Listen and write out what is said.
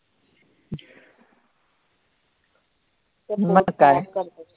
मग काय